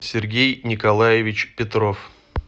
сергей николаевич петров